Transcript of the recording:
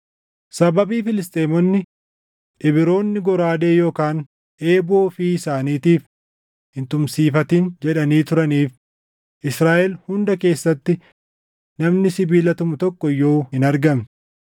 Sababii Filisxeemonni, “Ibroonni goraadee yookaan eeboo ofii isaaniitiif hin tumsiifatin!” jedhanii turaniif Israaʼel hunda keessatti namni sibiila tumu tokko iyyuu hin argamne.